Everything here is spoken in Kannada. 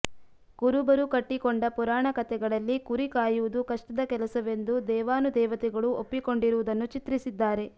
ಕುರುಬರು ಕಟ್ಟಿಕೊಂಡ ಪುರಾಣಕತೆಗಳಲ್ಲಿ ಕುರಿ ಕಾಯುವುದು ಕಷ್ಟದ ಕೆಲಸವೆಂದು ದೇವಾನುದೇವತೆಗಳೂ ಒಪ್ಪಿಕೊಂಡಿರುವುದನ್ನು ಚಿತ್ರಿಸಿದ್ದಾರೆ